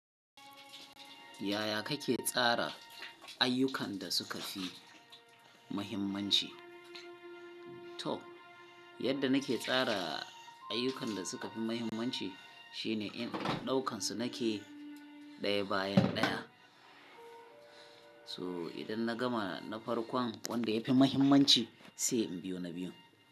Yaya kake tsara ayyukan da suka fi muhimmanci? To, yadda nake tsara ayyukan da suka fi mahimmanci shine in ɗaukan su nake ɗaya bayan ɗaya. So idan na gama na farkon wanda ya fi mahimmanci sai in biyo na biyun.